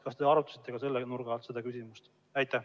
Kas te arutasite ka selle nurga alt seda küsimust?